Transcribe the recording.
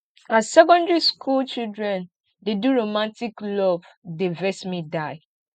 as secondary school children dey do romantic love dey vex me die